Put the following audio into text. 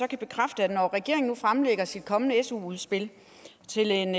kan bekræfte at når regeringen nu fremlægger sit kommende su udspil til en